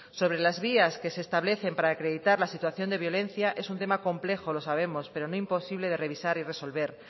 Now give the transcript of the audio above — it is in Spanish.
sobre las vías que se establecen para acreditar la situación de violencia es un tema complejo lo sabemos pero no imposible de revisar y resolver